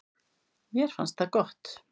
Mér fannst það gott.